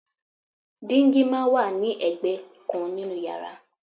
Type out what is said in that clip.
Díngí máa ń wà ní ẹgbẹ́ kan nínú yàrá